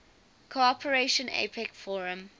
cooperation apec forum